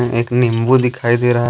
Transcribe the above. एक नींबू दिखाई दे रहा है।